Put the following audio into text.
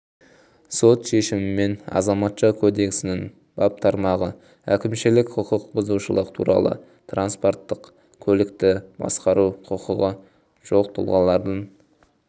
сот шешімімен азаматша кодексінің бап тармағы әкімшілік құқық бұзушылық туралы транспорттық көлікті басқару құқығы жоқ тұлғалардың